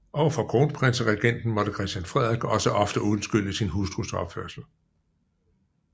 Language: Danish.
Over for kronprinseregenten måtte Christian Frederik også ofte undskylde sin hustrus opførsel